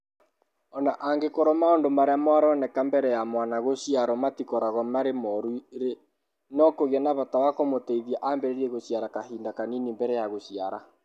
O na angĩkorũo maũndũ marĩa maroneka mbere ya mwana gũciarũo matikoragwo marĩ moru-rĩ, no kũgĩe na bata wa kũmũteithia ambĩrĩrie gũciara kahinda kanini mbere ya gũciara.